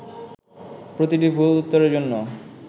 প্রতিটি ভুল উত্তরের জন্য